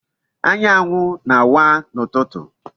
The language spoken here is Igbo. Anyanwu na-awa n'ututu.